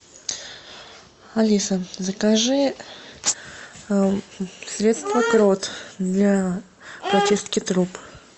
алиса закажи средство крот для прочистки труб